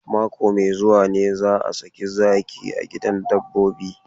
Mako mai zuwa ne za a saki zaki a gidan dabbobi.